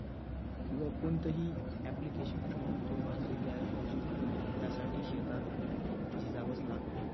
किंवा कोणतंही application बनवून तो भाकरी तयार करू शकत नाही. त्यासाठी शेतात झिजावंच लागतं.